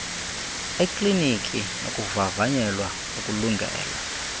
ekliniki nokuvavanyelwa ukulungela